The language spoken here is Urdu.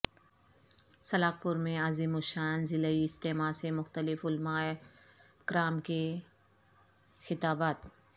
سلاخ پور میں عظیم الشان ضلعی اجتماع سے مختلف علماء کرام کے خطابات